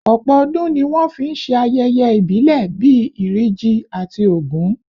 Ọ̀pọ̀ ọdún ni wọ́n fi ń ṣe ayẹyẹ ìbílẹ̀ bí Iri Ji àti Ògún